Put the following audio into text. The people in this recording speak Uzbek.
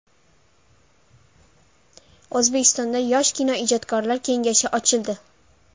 O‘zbekistonda yosh kinoijodkorlar kengashi ochildi.